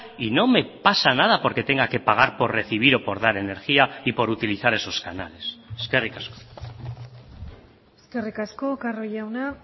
y no me pasa nada porque tenga que pagar por recibir o por dar energía y por utilizar esos canales eskerrik asko eskerrik asko carro jauna